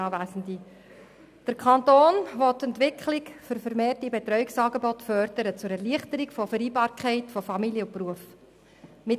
Der Kanton will die Entwicklung für vermehrte Betreuungsangebote zur Erleichterung der Vereinbarkeit von Familie und Beruf fördern.